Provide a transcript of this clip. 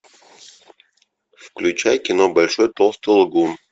включай кино большой толстый лгун